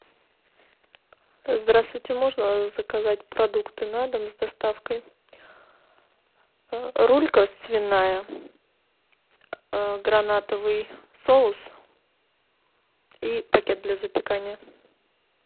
здравствуйте можно заказать продукты на дом с доставкой рулька свиная гранатовый соус и пакет для запекания